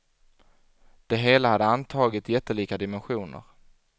Det hela hade antagit jättelika dimensioner.